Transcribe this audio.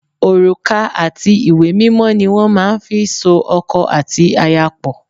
Òrùka àti ìwé mímọ ni wọ́n máa ń fí so ọkọ àti aya pò.